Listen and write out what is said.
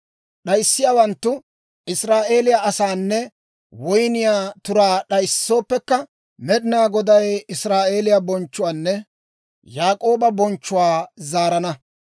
D'ayssiyaawanttu, Israa'eeliyaa asaanne woyniyaa turaa d'ayissooppekka, Med'inaa Goday Israa'eeliyaa bonchchuwaanne Yaak'ooba bonchchuwaa zaarana.